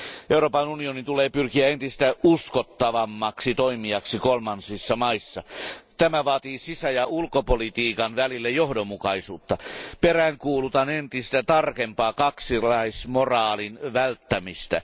Euroopan unionin tulee pyrkiä entistä uskottavammaksi toimijaksi kolmansissa maissa. Tämä vaatii sisä ja ulkopolitiikan välistä johdonmukaisuutta. Peräänkuulutan entistä tarkempaa kaksinaismoraalin välttämistä.